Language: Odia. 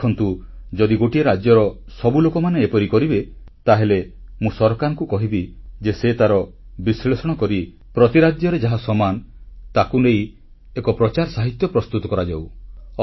ଆପଣମାନେ ଦେଖନ୍ତୁ ଯଦି ଗୋଟିଏ ରାଜ୍ୟର ସବୁ ଲୋକ ଏପରି କରିବେ ତାହେଲେ ମୁଁ ସରକାରଙ୍କୁ କହିବି ଯେ ସେ ତାର ବିଶ୍ଳେଷଣ କରି ପ୍ରତି ରାଜ୍ୟରେ ଯାହା ସମାନ ତାକୁ ନେଇ ଏକ ପ୍ରଚାରସାହିତ୍ୟ ପ୍ରସ୍ତୁତ କରାଯାଉ